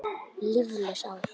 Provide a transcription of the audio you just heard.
Líflaus ár.